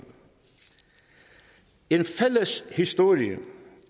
en fælles historie